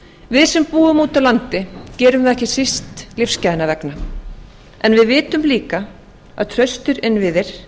við sem búum úti á landi gerum það ekki síst lífsgæðanna vegna en við vitum líka að traustir innviðir